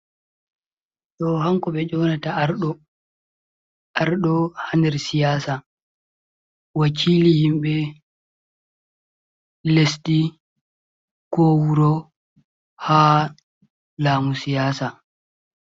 Ɗo hanko ɓe yonata Arɗo, Arɗo ha nder siyaasa wakili himɓe lesdi ko wuro ha laamu siyaasa.